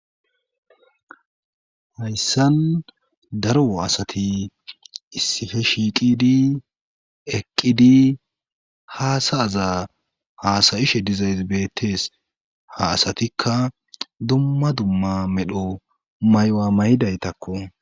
hayssan daro asati issihe shiiqidi eqqidi haasayaza haasayishe dizays beettees ha asatikka dumma dumma medho may7wa maydaytakko